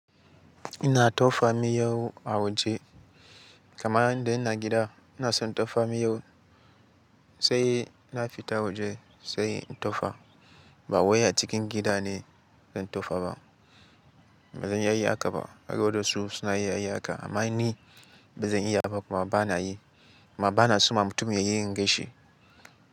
Ina tofa miyau a waje, kamar indai ina gida ina son tofa miyau sai na fita waje sai in tofa. Ba wai a cikin gida ne zan tofa ba. Ba zan iya yin haka ba. Har da wasu suna iya yi haka amma ni ba zan iya ba kuma ba na yi. Kuma ba na so ma mutum ya yi inganshi.